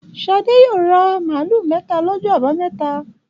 Ṣadé yóò ra màlúù mẹ́ta lọ́jọ́ àbámẹ́ta.